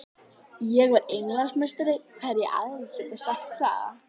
Ég var Englandsmeistari, hverjir aðrir geta sagt það?